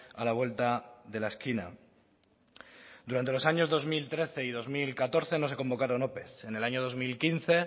a la vuelta de la esquina durante los años dos mil trece y dos mil catorce no se convocaron ope en el año dos mil quince